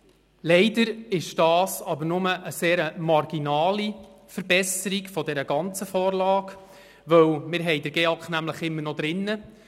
Leider ist dies aber nur eine sehr marginale Verbesserung der ganzen Vorlage, denn wir haben den GEAK immer noch drin.